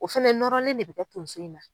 O fana nɔrɔlen de bɛ kɛ tonso in na.